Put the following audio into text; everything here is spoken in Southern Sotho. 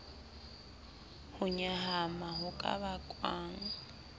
ho nyahama ho ka bakwang